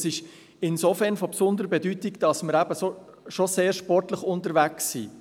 Dies ist insofern von besonderer Bedeutung, weil wir eben schon sehr sportlich unterwegs sind.